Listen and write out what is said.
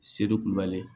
Seri ku kubali